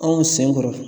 Anw sen kɔrɔ